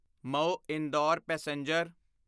Mhow Indore passenger